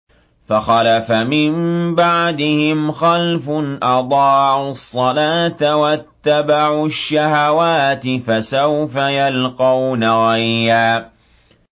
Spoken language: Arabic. ۞ فَخَلَفَ مِن بَعْدِهِمْ خَلْفٌ أَضَاعُوا الصَّلَاةَ وَاتَّبَعُوا الشَّهَوَاتِ ۖ فَسَوْفَ يَلْقَوْنَ غَيًّا